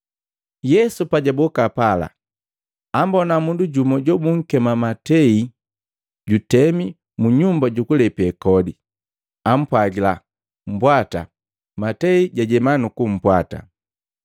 Yesu pajaboka pala, ambona mundu jumu jobunkema Matei jutemi mu nyumba jukulepe kodi. Ampwagila, “Mbwata.” Matei jajema nukumpwata.